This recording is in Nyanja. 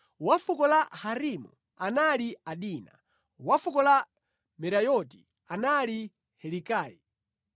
wa fuko la Harimu anali Adina; wa fuko la Merayoti anali Helikayi;